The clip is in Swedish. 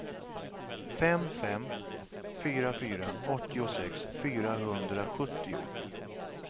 fem fem fyra fyra åttiosex fyrahundrasjuttio